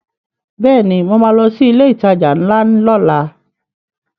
Bẹ́ẹ̀ni mo ma lọ sí ilé ìtajà ńlá lọ́la